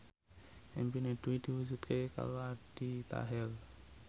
impine Dwi diwujudke karo Aldi Taher